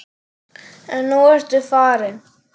En nú ertu farin.